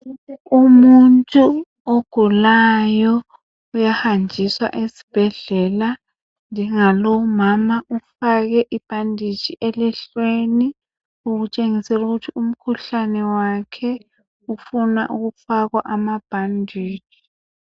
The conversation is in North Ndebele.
Umuntu ogulayo uyahanjiswa esibhedlela njengalo umama ifakwe ibhanditshi elihlweni okutshengisa ukuthi umkhuhlane wakhe ufuna ukufakwa amabhanditshi.